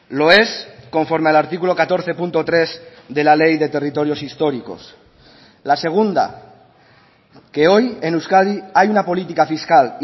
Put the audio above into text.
lo es conforme al artículo catorce punto tres de la ley de territorios históricos la segunda que hoy en euskadi hay una política fiscal